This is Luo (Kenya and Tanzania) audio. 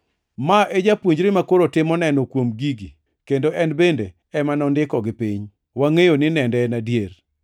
Ma e japuonjre makoro timo neno kuom gigi kendo en bende ema nondikogi piny. Wangʼeyo ni nende en adier.